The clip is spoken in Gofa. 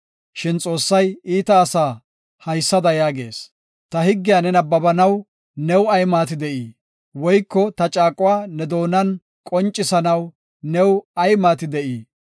Shin Xoossay iita asaa haysada yaagees; “Ta higgiya ne nabbabanaw new ay maati de7ii? Woyko ta caaquwa ne doonan qoncisanaw new ay maati de7ii?